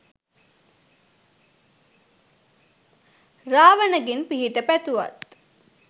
රාවණගෙන් පිහිට පැතුවත්